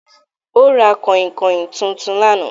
Ó ra kànhìnkànhìn tuntun ní àná